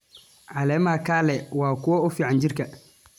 Caleemaha kale waa kuwo fiican jirka.